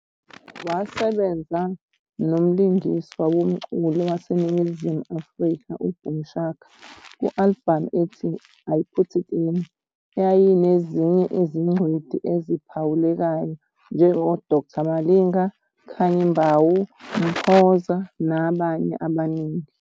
Wasebenza nomlingiswa womculo waseNingizimu Afrika uBoom Shaka ku-albhamu ethi I Put It In, eyayinezinye izingcweti eziphawulekayo njengoDkt Malinga, Khanyi Mbau, Mphoza, nabanye abaningi.